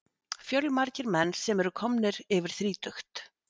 Fjölmargir menn sem eru komnir yfir þrítugt.